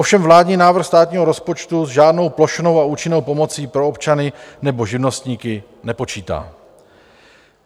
Ovšem vládní návrh státního rozpočtu s žádnou plošnou a účinnou pomocí pro občany nebo živnostníky nepočítá.